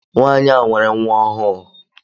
Nwanyi nwere nwa ọhụụ.